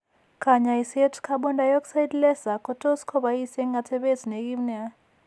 Kaany'ayseet carbon dioxide laser ko tos' kobois eng' atepet ne kiim nia.